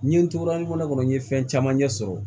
N ye n tora ɲɔgɔn kɔnɔ n ye fɛn caman ɲɛ sɔrɔ